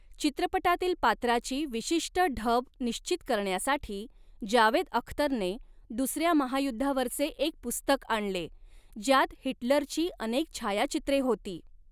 चित्रपटातील पात्राची विशिष्ट ढब निश्चित करण्यासाठी जावेद अख्तरने दुसऱ्या महायुद्धावरचे एक पुस्तक आणले, ज्यात हिटलरची अनेक छायाचित्रे होती.